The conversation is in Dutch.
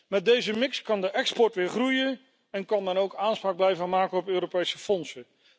Met deze mix kan de export weer groeien en kan het land ook aanspraak blijven maken op Europese fondsen.